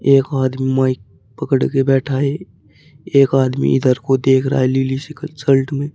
एक आदमी माइक पकड़ के बैठा है एक आदमी इधर को देख रहा हैं लीली सी शल्ट में।